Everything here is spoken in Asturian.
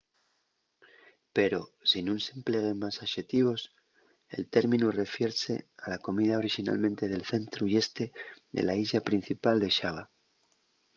pero si nun s’empleguen más axetivos el términu refierse a la comida orixinalmente del centru y este de la islla principal de xava